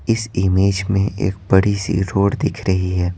इस इमेज में एक बड़ी सी रोड़ दिख रही है।